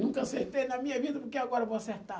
Nunca acertei na minha vida, porque agora vou acertar.